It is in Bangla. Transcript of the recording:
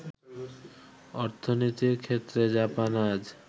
অর্থনীতির ক্ষেত্রে জাপান আজ